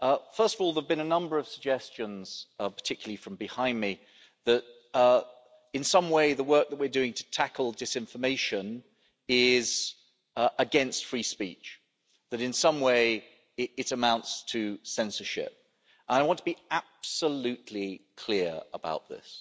First of all there have been a number of suggestions, particularly from behind me, that in some way the work that we're doing to tackle disinformation is against free speech, that in some way it amounts to censorship. I want to be absolutely clear about this.